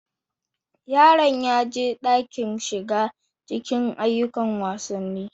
Yaron ya ji daɗin shiga cikin ayyukan wasanni.